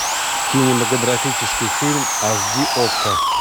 кинематографический фильм аш ди окко